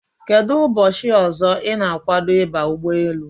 Kedụ ụbọchị ọzọ ị na-agwado ịba ụgbọelu?